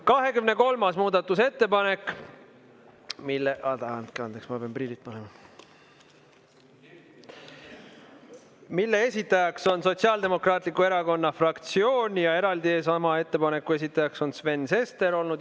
23. muudatusettepanek, mille – andke andeks, ma pean prillid ette panema – esitajaks on Sotsiaaldemokraatliku Erakonna fraktsioon ja eraldi sama ettepaneku esitajaks on Sven Sester olnud.